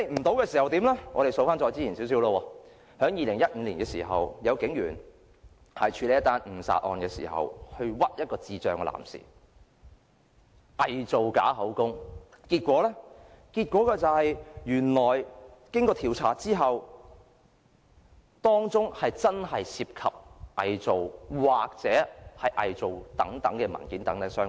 我們細數較早前的事，在2015年時，有警員在處理一宗誤殺案時，冤枉一名智障男士，偽造口供，結果經調查後，原來當中真的涉及偽造文件。